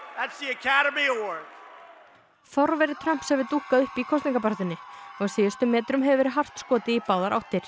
forveri Trumps hefur dúkkað upp í kosningabaráttunni á síðustu metrunum hefur verið hart skotið í báðar áttir